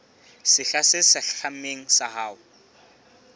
sehla se hlahlamang sa ho